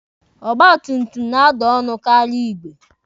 Ọgba tum tum na-ada ọnụ karịa igwe.